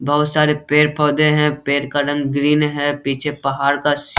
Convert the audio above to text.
बहोत सारे पेड़-पौधे है पेड़ का रंग ग्रीन है पीछे पहाड़ का सी --